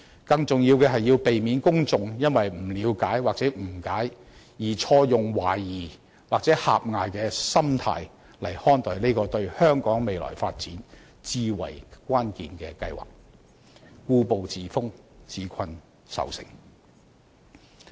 更重要的是，要避免公眾因不了解或誤解，而錯用懷疑或狹隘的心態來看待這個對香港未來發展至為關鍵的計劃，故步自封，自困愁城。